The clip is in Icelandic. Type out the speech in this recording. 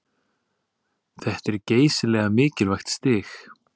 Þetta er geysilega mikilvægt stig